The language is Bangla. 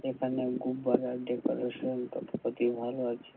এখানে খুব ভালো ডেকোরেশন টা অতি ভালো আছে।